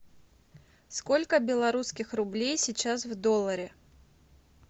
сколько белорусских рублей сейчас в долларе